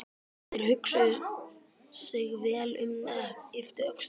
Þeir hugsuðu sig vel um en ypptu síðan öxlum.